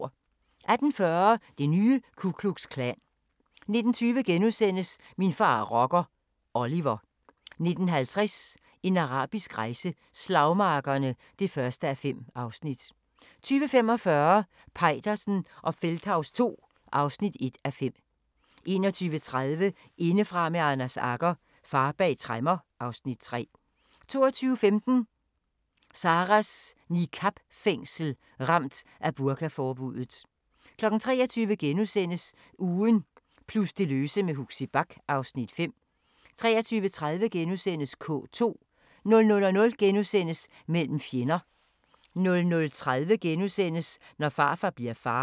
18:40: Det nye Ku Klux Klan 19:20: Min far er rocker – Oliver * 19:50: En arabisk rejse: Slagmarkerne (1:5) 20:45: Peitersen og Feldthaus II (1:5) 21:30: Indefra med Anders Agger – Far bag tremmer (Afs. 3) 22:15: Sarahs niqab-fængsel – Ramt af burkaforbuddet 23:00: Ugen plus det løse med Huxi Bach (Afs. 5)* 23:30: K2 * 00:00: Mellem fjender * 00:30: Når farfar bliver far *